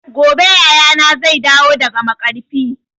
Gobe yayana zai dawo daga maƙarfi